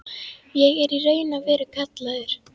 Ég er í raun og veru kallaður.